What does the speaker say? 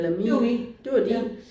Det var min. Ja